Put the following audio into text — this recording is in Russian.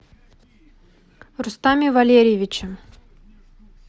рустаме валерьевиче